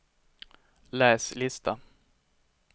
läs lista